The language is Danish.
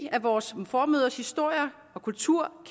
af vores formødres historier og kulturer